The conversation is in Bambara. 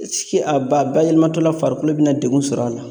a ba bayɛlɛmatɔla farikolo bina degun sɔrɔ a la